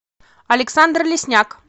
александр лесняк